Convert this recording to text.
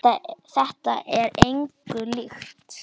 Þetta er engu líkt.